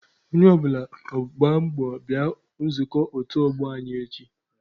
Onye ọ bụla gbaa mbọ bịa nzukọ otu ọgbọ anyị echi.